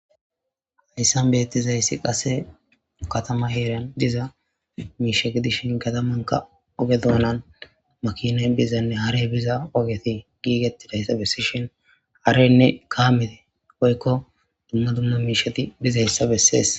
Hayissan betizayissi qase katama heranni diza mishshe gidishshin katamanikka oge dunani makinayi bizane haareyi biza ogeyi gigetidayissa besishshinn haareyinne kameyi woyikko dumma dumma mishshati bizayissa beses.